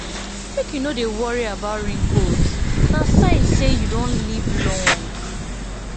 make you no dey worry about wrinkles na sign say you don live long